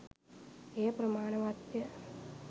එය ප්‍රමාණවත්ය.